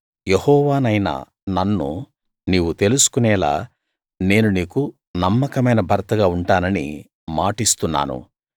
యెహోవానైన నన్ను నీవు తెలుసుకునేలా నేను నీకు నమ్మకమైన భర్తగా ఉంటానని మాటిస్తున్నాను